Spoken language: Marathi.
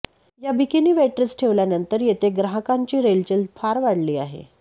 या बिकीनी वेट्रेस ठेवल्यानंतर येथे ग्राहकांची रेलचेल फार वाढली आहे